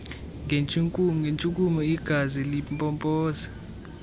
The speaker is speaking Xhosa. ngentshukumo igazi limpompa